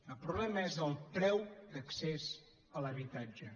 el problema és el preu d’accés a l’habitatge